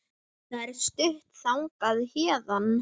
Það er stutt þangað héðan.